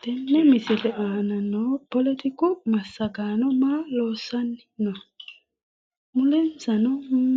Tene misile aana no poletiku massagaano maa loossanni no? Mulensanno